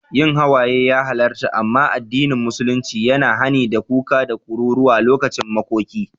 Yin hawaye ya halarta, amma addinin musulunci ya yi hani da kuka da kururuwa lokacin makoki.